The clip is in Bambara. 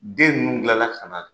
Den ninnu bilala ka na